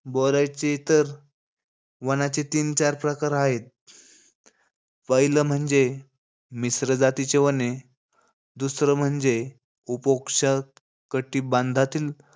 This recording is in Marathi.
बोलायचे तर वनांचे तीन-चार प्रकार हायेत. पाहिलं म्हणजे, मिश्र जातीची वने. दुसरं म्हणजे, उपोक्ष कटिबाधांतील,